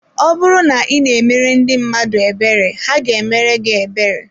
Ọ bụrụ na ị na-emere ndị mmadụ ebere, ha ga-emere gị ebere